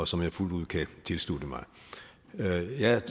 som jeg fuldt ud kan tilslutte mig